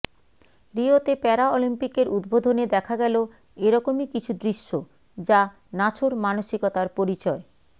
রিওতে para অলিম্পিকের উদ্বোধনে দেখা গেল এ রকমই কিছু দৃশ্য যা নাছোড় মানসিকতার পরিচয়